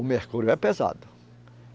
O mercúrio é pesado.